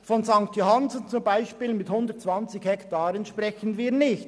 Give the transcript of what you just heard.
Von St. Johannsen, mit einer Fläche von 120 Hektaren, sprechen wir nicht;